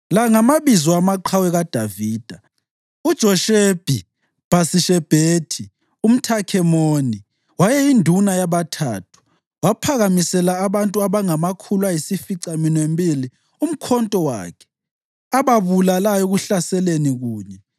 La ngamabizo amaqhawe kaDavida: UJoshebi-Bhasishebethi umThakemoni wayeyinduna yabaThathu, waphakamisela abantu abangamakhulu ayisificaminwembili umkhonto wakhe, ababulalayo ekuhlaseleni kunye.